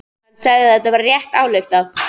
Hann sagði að það væri rétt ályktað.